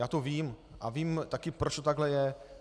Já to vím a vím taky, proč to takhle je.